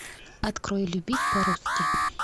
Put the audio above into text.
открой любить по русски